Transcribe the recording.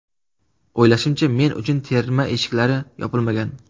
O‘ylashimcha, men uchun terma eshiklari yopilmagan.